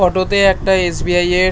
Photo তে একটা SBI. এর--